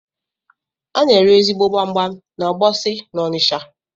Ana ere ezigbo gbamgbam na Ogbosi n’Onisha